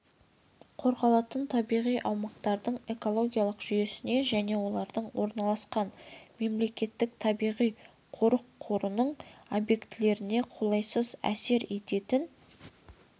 қорғалатын табиғи аумақтардың экологиялық жүйесіне және оларда орналасқан мемлекеттік табиғи-қорық қорының объектілеріне қолайсыз әсер ететін